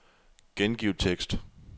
Gengiv tekst.